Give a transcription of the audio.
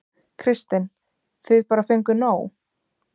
Kristinn: Þið bara fenguð nóg?